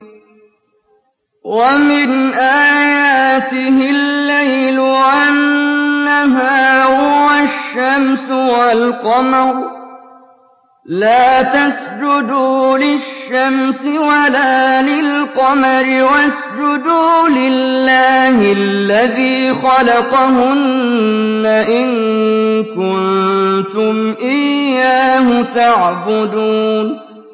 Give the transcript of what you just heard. وَمِنْ آيَاتِهِ اللَّيْلُ وَالنَّهَارُ وَالشَّمْسُ وَالْقَمَرُ ۚ لَا تَسْجُدُوا لِلشَّمْسِ وَلَا لِلْقَمَرِ وَاسْجُدُوا لِلَّهِ الَّذِي خَلَقَهُنَّ إِن كُنتُمْ إِيَّاهُ تَعْبُدُونَ